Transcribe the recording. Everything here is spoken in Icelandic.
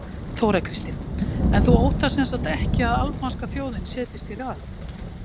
Þóra Kristín: En þú óttast samt ekki að albanska þjóðin setjist hér að?